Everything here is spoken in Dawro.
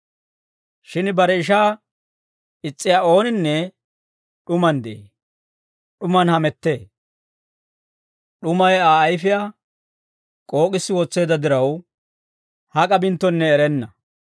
Shin bare ishaa is's'iyaa ooninne d'umaan de'ee; d'umaan hamettee. D'umay Aa ayfiyaa k'ook'issi wotseedda diraw, hak'a binttonne erenna.